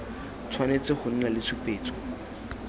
tshwanetse go nna le tshupetso